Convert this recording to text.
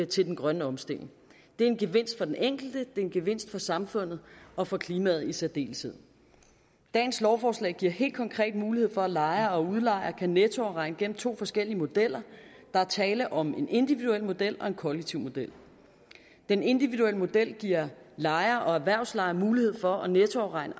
til den grønne omstilling det er en gevinst for den enkelte og er en gevinst for samfundet og for klimaet i særdeleshed dagens lovforslag giver helt konkret mulighed for at lejere og udlejere kan nettoafregne gennem to forskellige modeller der er tale om en individuel model og en kollektiv model den individuelle model giver lejere og erhvervslejere mulighed for at nettoafregne